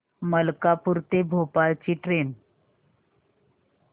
मलकापूर ते भोपाळ ची ट्रेन